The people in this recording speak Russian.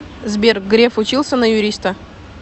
сбер греф учился на юриста